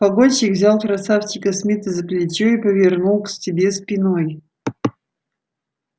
погонщик взял красавчика смита за плечо и повернул к себе спиной